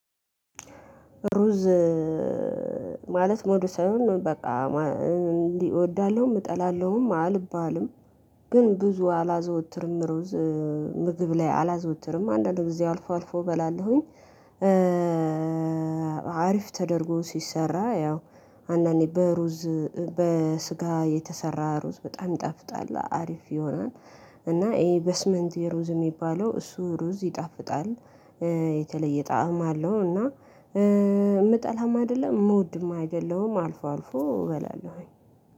ሩዝ ማለት ሞዱ ሳይሆን በቃ እንዲህ እወዳለሁ እጠላለሁም አልባልም ግን ብዙ አላዘወትርም ሩዝ ምግብ ላይ አላዘወትርም አንዳንድ ጊዜ አልፎ አልፎ በላለሁኝ። አሪፍ ተደርጎ ሲሰራ ያው አንዳንዴ በሩዝ በስጋ የተሰራ ሩዝ በጣም ይጣፍጣል አሪፍ ይሆናል። እና ይሄ በስመንት የሩዝ የሚባለው እሱ ሩዝ ይጣፍጣል። የተለየ ጣዕም አለው እና የምጠላውም አይደለም የምወድም አይደለም አልፎ አልፎ እበላለሁኝ።